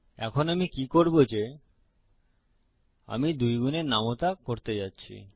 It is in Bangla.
এখন আমি কি করবো যে আমি 2 গুনের নামতা করতে যাচ্ছি